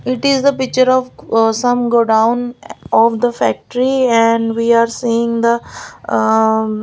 it is the picture of ah some godown of the factory and we are seeing the ah --